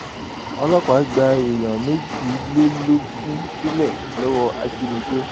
ọlọpàá gba èèyàn méjìlélógún sílẹ lọwọ ajínigbé